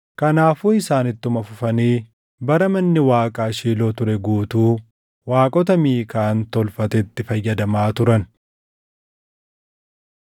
Kanaafuu isaan ittuma fufanii bara manni Waaqaa Shiiloo ture guutuu waaqota Miikaan tolfatetti fayyadamaa turan.